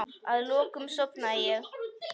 Að lokum sofnaði ég.